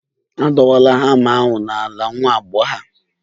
Adala hama ahụ n'ala, nwa agbọghọ a